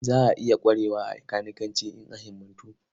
Za a iya ƙwarewa a kanikanci in an himmatu.